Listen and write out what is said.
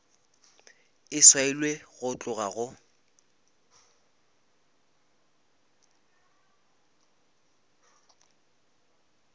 e swailwe go tloga go